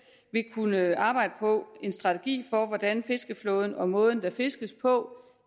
vil kunne arbejde på en strategi for hvordan fiskeflåden og måden der fiskes på